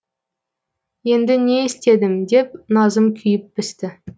енді не істедім деп назым күйіп пісті